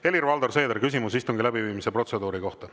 Helir-Valdor Seeder, küsimus istungi läbiviimise protseduuri kohta.